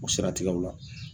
O seratigɛw la